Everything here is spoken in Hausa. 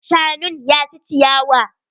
Shanun ya ci ciyawa.